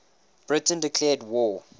britain declared war